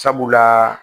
Sabula